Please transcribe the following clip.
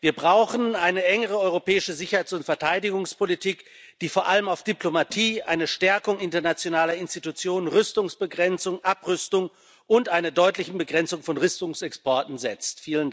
Wir brauchen eine engere europäische Sicherheits und Verteidigungspolitik, die vor allem auf Diplomatie, eine Stärkung internationaler Institutionen, Rüstungsbegrenzung, Abrüstung und eine deutliche Begrenzung von Rüstungsexporten setzt.